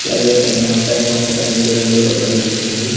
అలాగే పైన ఆకాశం కూడా నీలి రంగులో కన్పిస్తుంది.